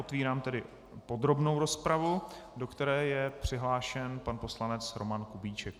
Otevírám tedy podrobnou rozpravu, do které je přihlášen pan poslanec Roman Kubíček.